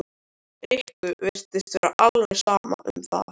Rikku virtist vera alveg sama um það.